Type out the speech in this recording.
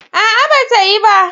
A'a, ba ta yi ba.